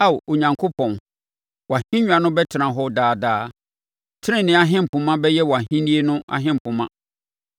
Ao Onyankopɔn, wʼahennwa no bɛtena hɔ daa daa; tenenee ahempoma bɛyɛ wʼahennie no ahempoma.